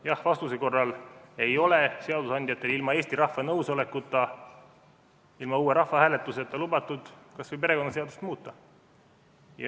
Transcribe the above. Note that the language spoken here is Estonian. Jah-vastuse korral ei ole seadusandjatel ilma Eesti rahva nõusolekuta, ilma uue rahvahääletuseta lubatud kas või perekonnaseadust muuta.